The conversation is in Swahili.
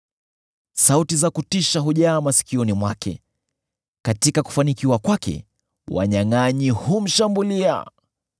Sauti za kutisha hujaa masikioni mwake; katika kufanikiwa kwake, wanyangʼanyi humshambulia.